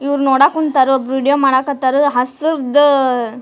ಇವ್ರ್ ನೋಡಾಕತ್ತಾರೋ ವೇಡಿಯೊ ಮಾಡಕ್ ಹತಾರೊ ಹಸುರ್ದಅಅ --